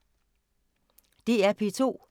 DR P2